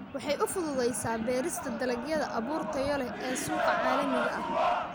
Waxay u fududaysaa beerista dalagyada abuur tayo leh ee suuqa caalamiga ah.